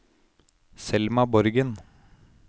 Selma Borgen